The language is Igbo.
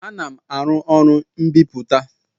Ana m aru ụlọ mbiputa